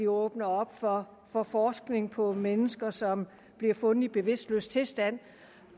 åbner op for for forskning på mennesker som bliver fundet i bevidstløs tilstand